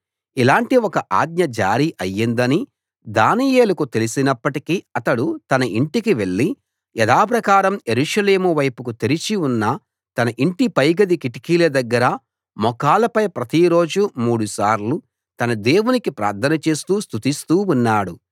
ఇలాంటి ఒక ఆజ్ఞ జారీ అయిందని దానియేలుకు తెలిసినప్పటికీ అతడు తన ఇంటికి వెళ్లి యథాప్రకారం యెరూషలేము వైపుకు తెరిచి ఉన్న తన ఇంటి పైగది కిటికీల దగ్గర మోకాళ్ళపై ప్రతిరోజూ మూడుసార్లు తన దేవునికి ప్రార్థన చేస్తూ స్తుతిస్తూ ఉన్నాడు